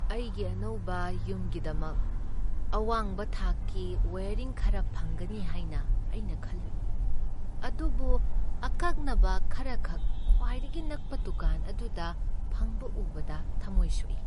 ꯑꯩꯒꯤ ꯑꯅꯧꯕ ꯌꯨꯝꯒꯤꯗꯃꯛ ꯑꯋꯥꯡꯕ ꯊꯥꯛꯀꯤ ꯋꯥꯏꯌꯔꯤꯡ ꯈꯔ ꯐꯪꯒꯅꯤ ꯍꯥꯏꯅ ꯑꯩꯅ ꯈꯜꯂꯨꯏ, ꯑꯗꯨꯕꯨ ꯑꯀꯛꯅꯕ ꯈꯔꯈꯛ ꯈ꯭ꯋꯥꯏꯗꯒꯤ ꯅꯛꯄ ꯗꯨꯀꯥꯟ ꯑꯗꯨꯗ ꯐꯪꯕ ꯎꯕꯗ ꯊꯃꯣꯏ ꯁꯣꯛꯏ꯫